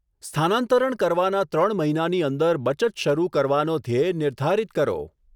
સ્થાનંતરણ કરવાના ત્રણ મહિનાની અંદર બચત શરૂ કરવાનો ધ્યેય નિર્ધારિત કરો.